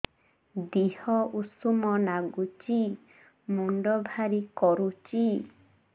ଦିହ ଉଷୁମ ନାଗୁଚି ମୁଣ୍ଡ ଭାରି କରୁଚି